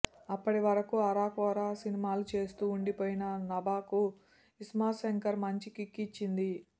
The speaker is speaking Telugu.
అప్పటివరకు అరకొర సినిమాలు చేస్తూ ఉండిపోయిన నభాకు ఇస్మార్ట్ శంకర్ మంచి కిక్ ఇచ్చింది